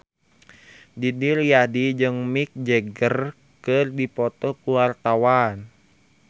Didi Riyadi jeung Mick Jagger keur dipoto ku wartawan